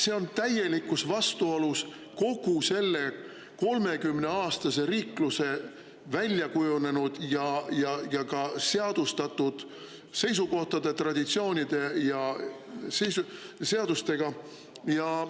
See on täielikus vastuolus kogu selle 30‑aastase riikluse väljakujunenud ja seadustatud seisukohtade, traditsioonide ja seadustega.